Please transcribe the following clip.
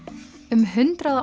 um hundrað og